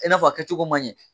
I n'a fɔ a kɛcogo ma ɲɛ